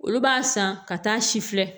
Olu b'a san ka taa si filɛ